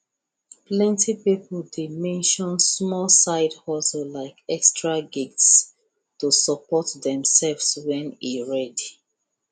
plenty people dey mention small side hustle like extra gigs to support themselves when e red